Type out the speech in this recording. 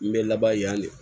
N bɛ laban yan de